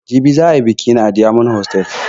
Jibi za ayi biƙi na a diyamond hotal